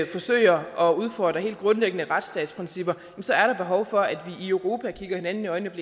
forsøger at udfordre helt grundlæggende retsstatsprincipper så er der behov for at vi i europa kigger hinanden i øjnene og